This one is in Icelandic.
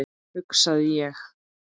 hugsaði ég.